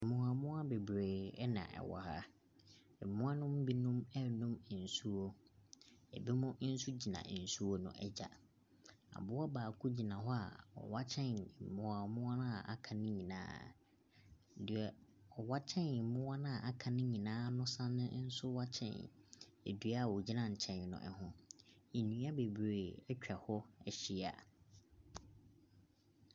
Mmoawammoawa bebree na wɔwɔ ha. Mmoa no mu binom renom nsuo. Binom nso gyina nsuo no agya. Aboa baako gyina hɔ a ɔware kyɛn mmoawammoawa a wɔaka no nyinaa. Deɛ ɔwa kyɛn mmoa no a wɔaka no nyinaa no same nso ware kyɛn dua a ɔgyina nkyɛn no ho. Nnua bebree atwa hɔ ahyia.